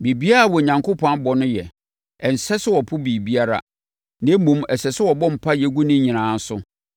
Biribiara a Onyankopɔn abɔ no yɛ. Ɛnsɛ sɛ wɔpo biribiara, na mmom, ɛsɛ sɛ wɔbɔ mpaeɛ gu ne nyinaa so.